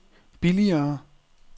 billigere